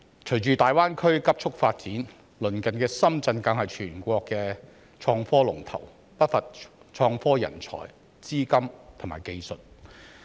隨着大灣區急速發展，鄰近的深圳更是全國的創科龍頭，不乏創科人才、資金和技術。